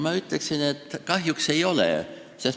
Ma ütleksin, et kahjuks ei ole.